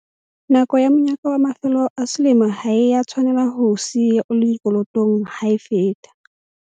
Nako ya monyaka wa mafelo a selemo ha e a tshwanela ho o siya o le dikolotong ha e feta.